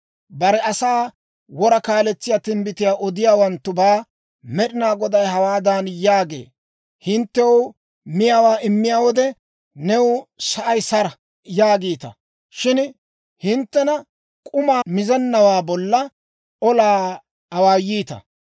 Bare asaa wora kaaletsiyaa timbbitiyaa odiyaawanttubaa Med'ina Goday hawaadan yaagee; «Hinttew miyaawaa immiyaa wode, ‹New sa'ay sara› yaagiita; shin hinttena k'uma mizennawaa bolla olaa awaayiita.